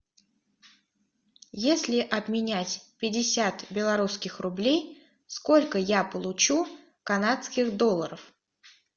если обменять пятьдесят белорусских рублей сколько я получу канадских долларов